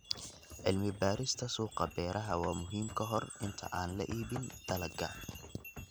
Cilmi-baarista suuqa beeraha waa muhiim ka hor inta aan la iibin dalagga.